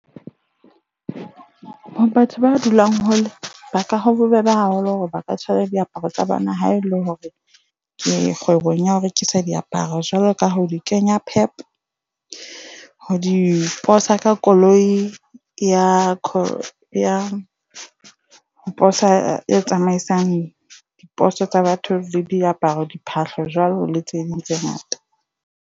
Batho ba dulang hole ba ka ba bobebe haholo hore ba ka tswara diaparo tsa bona ha ele hore kgwebong ya ho rekisa diaparo jwalo ka ha di kenya Pep ho di posa ka koloi ya ya poso e tsamaisang diposo tsa batho le diaparo, diphahlo, jwalo le tse ding tse ngata.